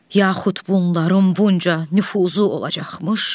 Yaxud bunların bunca nüfuzu olacaqmış.